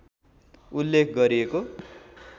उल्लेख गरिएको